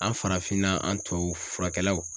An farafinna an tubabu furakɛlaw